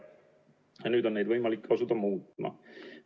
Nüüd on neid võimalik asuda muutma.